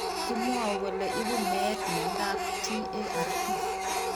Kimwau kole ipu meet miondop TARP